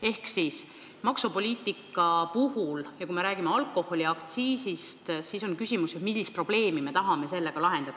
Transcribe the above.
Ehk maksupoliitika ja ka alkoholiaktsiisi puhul on ju küsimus, millist probleemi me tahame sellega lahendada.